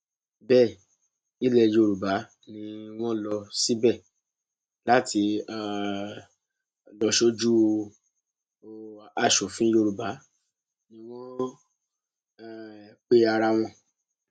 bẹẹ ilẹ yorùbá ni wọn lọ síbẹ láti um lọọ sójú o asòfin yorùbá ni wọn ń um pe ara wọn